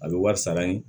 A bɛ wari sara yen